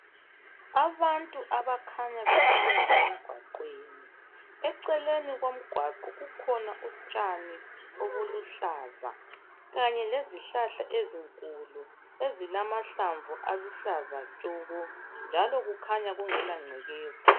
Abantu abakhanye behamba emgwaqweni, eceleni komgwaqo kukhona utshani obuluhlaza kanye lezihlahla ezinkulu ezilamahlamvu aluhlaza tshoko njalo kukhanya kungelangcekeza